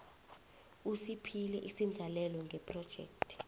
usiphile isendlalelo ngephrojekhthi